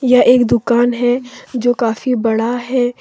यह एक दुकान है जो काफी बड़ा है।